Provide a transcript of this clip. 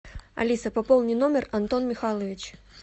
алиса пополни номер антон михайлович